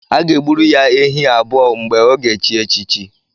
A ga-e gburu ya ehi abụọ mgbe ọ ga-echi echichi